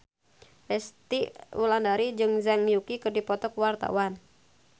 Resty Wulandari jeung Zhang Yuqi keur dipoto ku wartawan